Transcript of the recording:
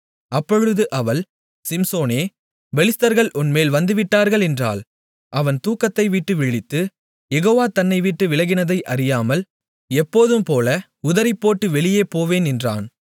அப்பொழுது அவள் சிம்சோனே பெலிஸ்தர்கள் உன்மேல் வந்துவிட்டார்கள் என்றாள் அவன் தூக்கத்தைவிட்டு விழித்து யெகோவா தன்னைவிட்டு விலகினதை அறியாமல் எப்போதும்போல உதறிப்போட்டு வெளியே போவேன் என்றான்